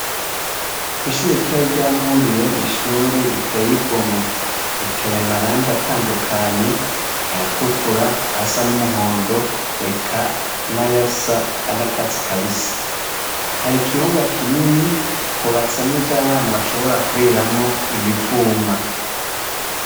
ishuri ritoye ryamurire n'ishuri riteye igomwe riteye amarangi atandukanye ay'atukura asa n'umuhondo eka n'ayasa n'akatsi kabisi hari ikibuga kinini hubatsemwo ivy'abana bashobora kuriramwo imivuma